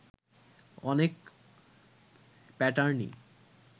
অনেক প্যাটার্নই